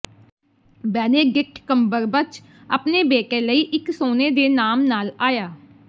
Benedict Cumberbatch ਆਪਣੇ ਬੇਟੇ ਲਈ ਇਕ ਸੋਨੇ ਦੇ ਨਾਮ ਨਾਲ ਆਇਆ